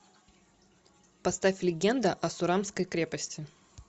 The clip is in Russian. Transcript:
поставь легенда о сурамской крепости